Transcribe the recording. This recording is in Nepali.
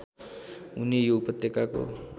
हुने यो उपत्यकाको